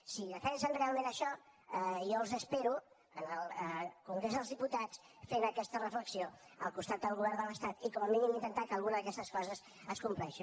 si defensen realment això jo els espero al congrés dels diputats fent aquesta reflexió al costat del govern de l’estat i com a mínim intentar que alguna d’aquestes coses es compleixi